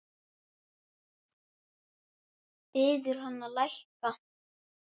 Biður hann að lækka.